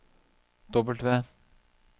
W